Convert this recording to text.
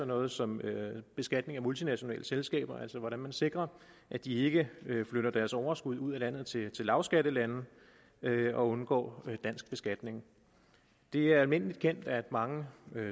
noget som beskatning af multinationale selskaber altså hvordan man sikrer at de ikke flytter deres overskud ud af landet til lavskattelande og undgår dansk beskatning det er almindelig kendt at mange